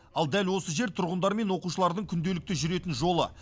ал дәл осы жер тұрғындар мен оқушылардың күнделікті жүретін жолы